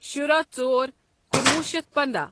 شُراہ ژۄر کنوہ شیتھ پنٛدہ